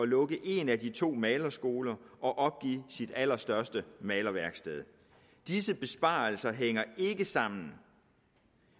lukke en af de to malerskoler og opgive sit allerstørste malerværksted disse besparelser hænger ikke sammen